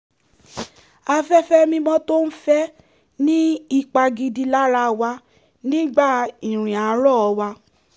afẹ́fẹ́ mímọ́ tó ń fẹ́ ní ipa gidi lára wa nígbà ìrìn àárọ́ wa